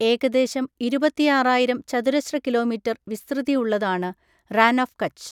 ഏകദേശം ഇരുപത്തിയാറായിരം ചതുരശ്ര കിലോമീറ്റർ വിസ്തൃതിയുള്ളതാണ്, റാൻ ഓഫ് കച്ച്.